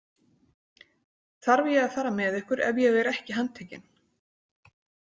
Þarf ég að fara með ykkur ef ég er ekki handtekinn?